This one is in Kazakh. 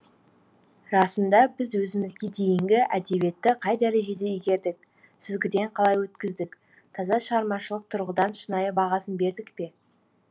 расында біз өзімізге дейінгі әдебиетті қай дәрежеде игердік сүзгіден қалай өткіздік таза шығармашылық тұрғыдан шынайы бағасын бердік пе